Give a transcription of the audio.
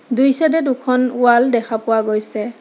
দুইচাইডে দুখন ৱাল দেখা পোৱা গৈছে।